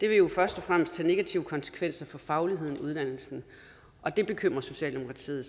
vil først og fremmest have negative konsekvenser for fagligheden i uddannelsen og det bekymrer socialdemokratiet